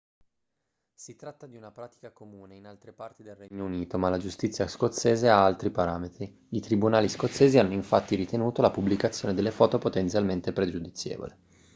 si tratta di una pratica comune in altre parti del regno unito ma la giustizia scozzese ha altri parametri i tribunali scozzesi hanno infatti ritenuto la pubblicazione delle foto potenzialmente pregiudizievole